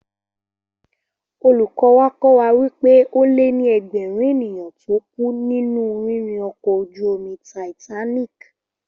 Olùkọ́ wa kọ́ wa wí pé ó lé ní ẹgbẹ̀rún ènìyàn tó kú nínú rírìn ọkọ̀ ojú-omi Titanic